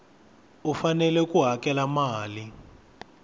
u fanele ku hakela mali